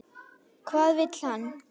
Hvað vill hann?